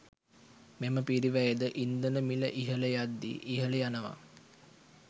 මෙම පිරිවැයද ඉන්ධන මිල ඉහළ යද්දී ඉහළ යනවා.